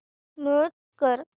mute कर